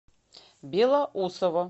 белоусово